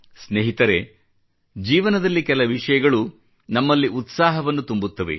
ಸ್ನೇಹಿತರೆ ಜೀವನದಲ್ಲಿ ಕೆಲ ವಿಷಯಗಳು ನಮ್ಮಲ್ಲಿ ಉತ್ಸಾಹವನ್ನು ತುಂಬುತ್ತವೆ